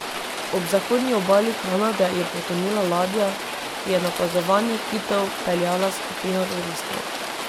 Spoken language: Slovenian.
Ob zahodni obali Kanade je potonila ladja, ki je na opazovanje kitov peljala skupino turistov.